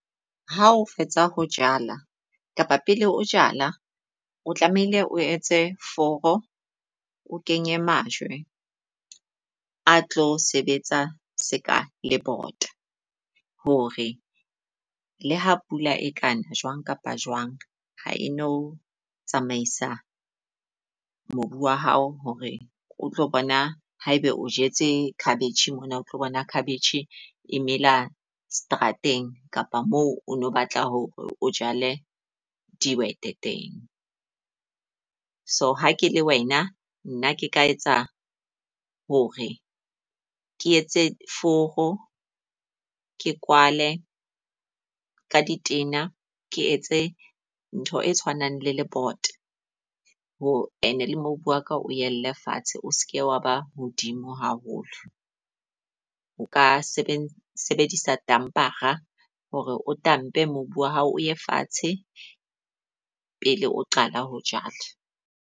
Ha o fetsa ho jala kapa pele o jala, o tlamehile o etse foro o kenye majwe a tlo sebetsa seka le botsa. Hore le ha pula e ka na, jwang kapa jwang ha e no tsamaisa mobu wa hao. Hore o tlo bona ha eba o jetse cabbage mona, o tlo bona cabbage emela seterateng kapa moo o no batla hore o jale dihwete teng. So ha ke le wena nna ke ka etsa hore ke etse foro ke kwale ka di tena, ke etse ntho e tshwanang le le bota ho and le mobu wa ka o yelle fatshe, o seke wa ba hodimo haholo. O ka sebedisa tampara hore o tamepe mobu wa hao o ye fatshe pele o qala ho jala.